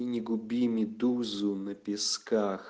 и не губи медузу на песках